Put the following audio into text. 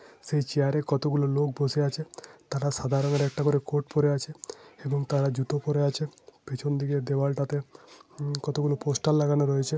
সেই চেয়ার কত গুলো লোক বসে আছে । তাড়া সাদা রঙের একটা করে কোট পরে আছে এবং তারা জুতো পরে আছে । পেছন দিকে দেওয়াল টাতে কত গুলো পোস্টার লাগানো রয়েছে ।